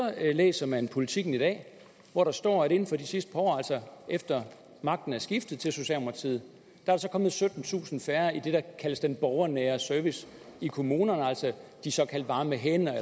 læser man politiken i dag hvor der står at inden for de sidste par år altså efter magten er skiftet til socialdemokratiet er der kommet syttentusind færre i det der kaldes den borgernære service i kommunerne altså de såkaldte varme hænder